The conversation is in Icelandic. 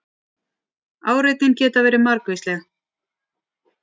áreitin geta verið margvísleg